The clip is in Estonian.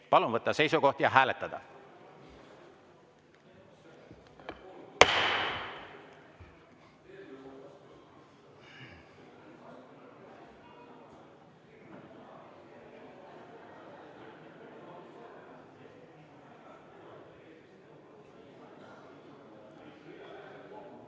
Palun võtta seisukoht ja hääletada!